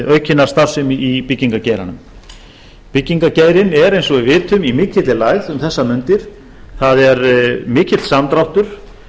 aukinnar starfsemi í byggingargeiranum byggingargeirinn er eins og við vitum í mikilli lægð um þessar mundir það er mikill samdráttur